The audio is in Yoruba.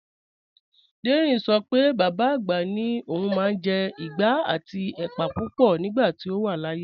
Dẹ́rìn ṣọ pé bàbá agbá ni ọ̀un máa n jẹ́ ìgbà àti èpà púpọ̀ nígbàtí ọ wà láàyè